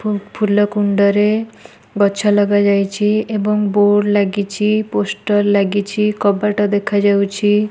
ଫୁଲକୁଣ୍ଡରେ ଗଛ ଲଗାଯାଇଛି। ଏବଂ ବୋର୍ଡ ଲାଗିଛି। ପୋଷ୍ଟର ଲାଗିଛି। କବାଟ ଦେଖାଯାଉଛି।